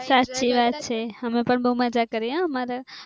સાચી વાત છે અમે પણ મજા કરીએ અમારા